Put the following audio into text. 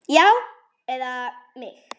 Já, eða mig?